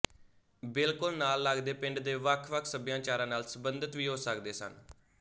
ਬਿਲਕੁਲ ਨਾਲ ਲੱਗਦੇ ਪਿੰਡ ਦੇ ਵੱਖ ਵੱਖ ਸਭਿਆਚਾਰਾਂ ਨਾਲ ਸੰਬੰਧਤ ਵੀ ਹੋ ਸਕਦੇ ਸਨ